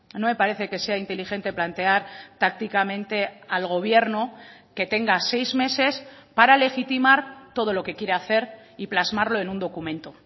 no me parece que sea inteligente plantear tácticamente al gobierno que tenga seis meses para legitimar todo lo que quiere hacer y plasmarlo en un documento